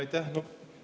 Aitäh!